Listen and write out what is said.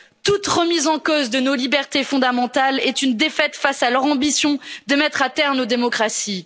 Toute remise en cause de nos libertés fondamentales est une défaite face à leur ambition de mettre à terre nos démocraties.